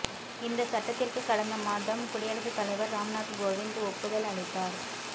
இந்த சட்டத்திற்கு கடந்த மாதம் குடியரசுத் தலைவர் ராம்நாத் கோவிந்த் ஒப்புதல் அளித்தார்